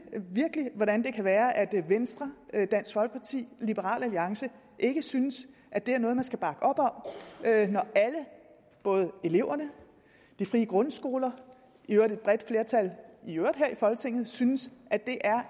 hvordan det kan være at venstre dansk folkeparti og liberal alliance ikke synes at det er noget man skal bakke op om når alle både eleverne de frie grundskoler i øvrigt et bredt flertal her i folketinget synes at det